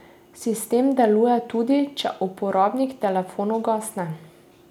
Sistem deluje tudi, če uporabnik telefon ugasne.